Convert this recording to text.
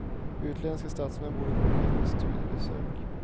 Utländska statsmän borde komma hit på studiebesök.